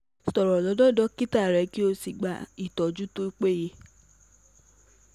Sọ̀rọ̀ lọ́dọ̀ dókítà rẹ kó o sì gba ìtọ́jú tó bá yẹ